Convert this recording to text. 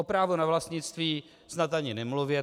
O právu na vlastnictví snad ani nemluvě.